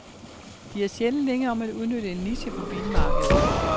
De er sjældent længe om at udnytte en niche på bilmarkedet.